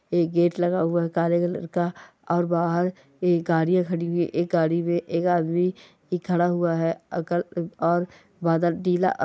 एक गेट लगा हुआ है काले कलर का और बाहर ए गाड़ियां खड़ी हुई है एक गाड़ी में एक आदमी खड़ा हुआ है और बादल नीला अ --